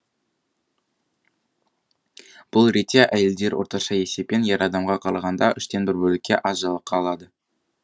бұл ретте әйелдер орташа есеппен ер адамға қарағанда үштен бір бөлікке аз жалақы алады